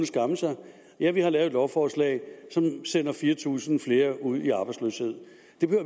skamme sig ja vi har lavet et lovforslag som sender fire tusind flere ud i arbejdsløshed